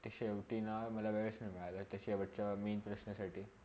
ते शेवटी ना मला वेळस नाय मिळाला त्याच्यावरच्या main प्रश्नांसाठी